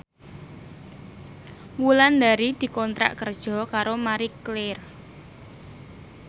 Wulandari dikontrak kerja karo Marie Claire